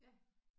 Ja